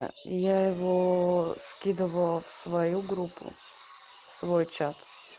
а я его скидывал в свою группу свой чат